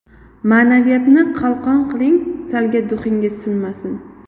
Ma’naviyatni qalqon qiling, Salga duxingiz sinmasin.